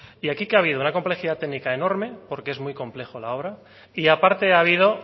y aquí que ha habido una complejidad técnica enorme porque es muy compleja la obra y aparte ha habido